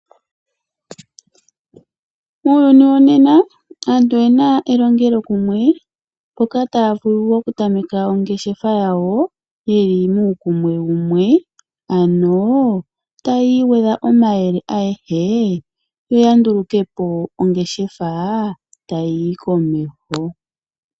Muuyuni wonena aantu oyena elongelokumwe mpoka taya vulu okutameka ongeshefa yawo yeli muukumwe wumwe, ano tayi igwedha omayele ayehe yo yandulukepo ongeshefa tayi yi komeho.